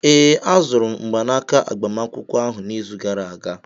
Ee, azụrụ m mgbanaka agbamakwụkwọ ahụ n'izu gara aga